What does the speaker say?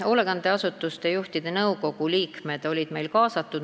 Hoolekandeasutuste juhtide nõukogu liikmed olid kaasatud.